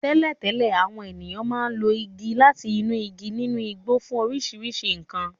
Tẹ́lẹ̀tẹ́lẹ̀, àwọn ènìyàn máa ń lo igi láti inú igi nínú igbó fún oríṣiríṣi nkan.